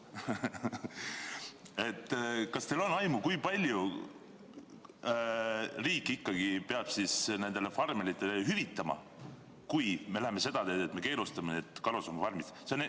Kas teil on aimu, kui palju riik ikkagi peab nendele farmeritele hüvitama, kui me läheme seda teed, et me keelustame karusloomafarmid?